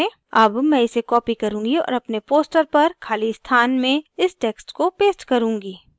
अब मैं इसे copy करुँगी और अपने poster पर ख़ाली स्थान में इस text को paste करुँगी